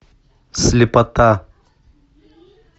слепота